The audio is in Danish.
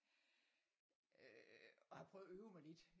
Og har prøvet at øve mig lidt